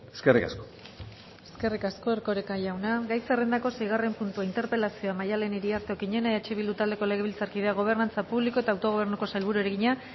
eskerrik asko eskerrik asko erkoreka jauna gai zerrendako seigarren puntua interpelazioa maddalen iriarte okiñena eh bildu taldeko legebiltzarkideak gobernantza publiko eta autogobernuko sailburuari egina